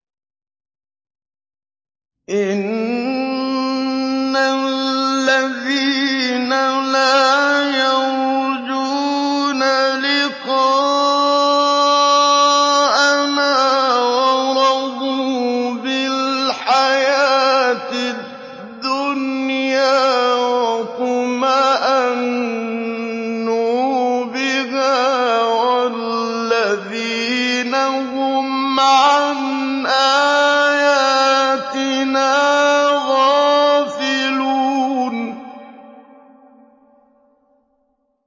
إِنَّ الَّذِينَ لَا يَرْجُونَ لِقَاءَنَا وَرَضُوا بِالْحَيَاةِ الدُّنْيَا وَاطْمَأَنُّوا بِهَا وَالَّذِينَ هُمْ عَنْ آيَاتِنَا غَافِلُونَ